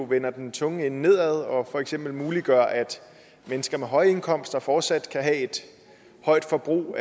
vender den tunge ende nedad og for eksempel muliggør at mennesker med høje indkomster fortsat kan have et højt forbrug